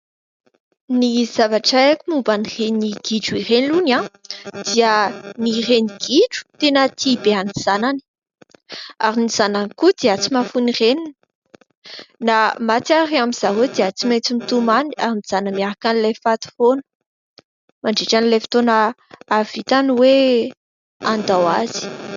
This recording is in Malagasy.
Ny zavatra haiko momba an'ireny "gidro" ireny aloha, dia ny reni-gidro dia tena tia be ny zanany, ary ny zanany koa dia tsy mahafoy ny reniny. Na maty ary amizareo dia tsy maintsy mitomany, ary mijanona miaraka amin'ilay faty foana mandritra ilay fotoana hahavitany hoe handao azy.